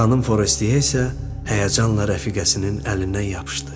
Xanım Forestiye isə həyəcanla rəfiqəsinin əlindən yapışdı.